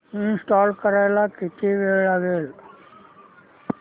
install करायला किती वेळ लागेल